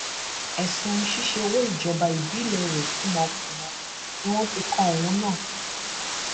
ẹsùn ṣíṣe owó ìjọba ìbílẹ rẹ kùmọkúmọ ni wọn fi kan òun náà